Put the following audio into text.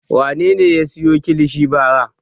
Wane ne ya sayo kilishi bara?